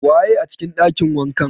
Waye a cikin ɗakin wankan?